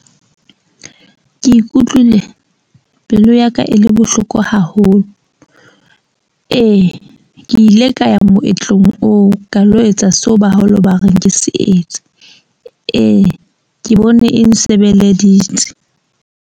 Ke ikutlwile pelo ya ka e le bohloko haholo. Ee ke ile ka ya moetlong oo ka lo etsa seo ba haholo ba reng ke se etse. Ee, ke bone e nsebeleditse.